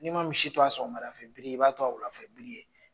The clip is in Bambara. N'i ma misi to a sɔgɔmadafɛ biri ye i b'a to a wuladafɛ biri ye